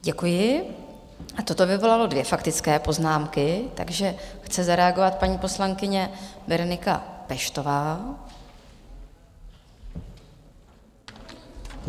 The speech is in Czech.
Děkuji a toto vyvolalo dvě faktické poznámky, takže chce zareagovat paní poslankyně Berenika Peštová.